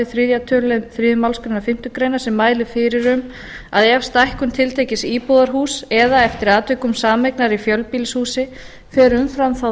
þriðja tölulið þriðju málsgrein fimm greinar sem mælir fyrir um að ef stækkun tiltekins íbúðarhúss eða eftir atvikum sameignar í fjölbýlishúsi fer umfram þá